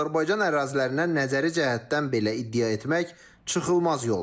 Azərbaycan ərazilərinə nəzəri cəhətdən belə iddia etmək çıxılmaz yoldur.